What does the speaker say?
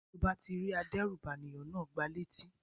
Tí o bá ti rí adérùbànìyàn náà, gba létí.